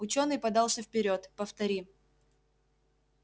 учёный подался вперёд повтори